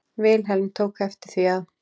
Vilhelm tók eftir því að